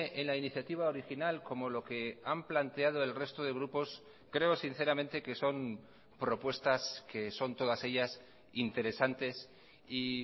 en la iniciativa original como lo que han planteado el resto de grupos creo sinceramente que son propuestas que son todas ellas interesantes y